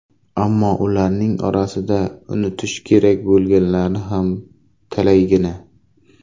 Ammo ularning orasidan unutish kerak bo‘lganlari ham talaygina.